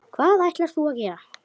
Hvað ætlarðu að gera?